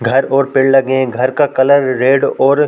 घर और पेड़ लगे हैं घर का कलर रेड और --